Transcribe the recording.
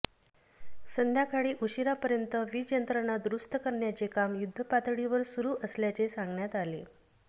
संध्याकाळी उशीरापर्यंत वीजयंत्रणा दुरुस्त करण्याचे काम युद्धपातळीवर सुरु असल्याचे सांगण्यात आले